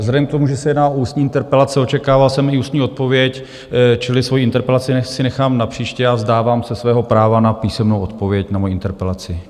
Vzhledem k tomu, že se jedná o ústní interpelace, očekával jsem i ústní odpověď, čili svoji interpelaci si nechám na příště a vzdávám se svého práva na písemnou odpověď na moji interpelaci.